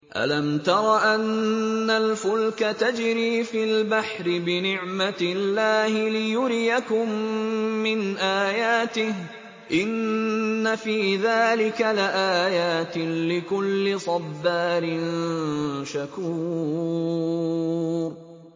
أَلَمْ تَرَ أَنَّ الْفُلْكَ تَجْرِي فِي الْبَحْرِ بِنِعْمَتِ اللَّهِ لِيُرِيَكُم مِّنْ آيَاتِهِ ۚ إِنَّ فِي ذَٰلِكَ لَآيَاتٍ لِّكُلِّ صَبَّارٍ شَكُورٍ